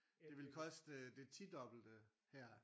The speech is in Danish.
Det ville koste det tidobbelte her